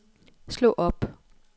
slå op